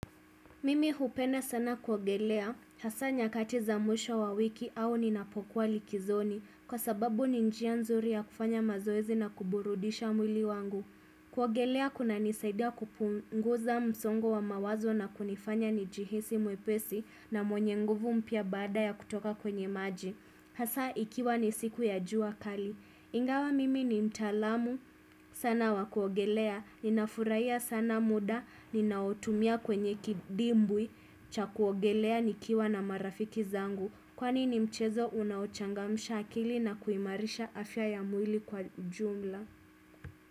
Mimi hupenda sana kuogelea, hasa nyakati za mwisho wa wiki au ninapokuwa likizoni, kwa sababu ni njia nzuri ya kufanya mazoezi na kuburudisha mwili wangu. Kuogelea kunanisaida kupunguza msongo wa mawazo na kunifanya nijihisi mwepesi na mwenye nguvu mpya baada ya kutoka kwenye maji. Hasa ikiwa ni siku ya jua kali. Ingawa mimi ni mtaalamu. Sana wa kuogelea. Ninafuraia sana muda. Ninaotumia kwenye kidimbwi. Cha kuogelea nikiwa na marafiki zangu. Kwani ni mchezo unaochangamsha akili na kuimarisha afya ya mwili kwa jumla.